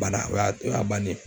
Bana o y'a o y'a bannen ye.